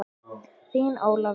Þín Ólafía.